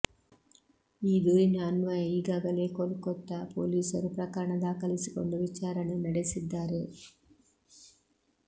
ಈ ದೂರಿನ ಅನ್ವಯ ಈಗಾಗಲೇ ಕೋಲ್ಕತ್ತಾ ಪೊಲೀಸರು ಪ್ರಕರಣ ದಾಖಲಿಸಿಕೊಂಡು ವಿಚಾರಣೆ ನಡೆಸಿದ್ದಾರೆ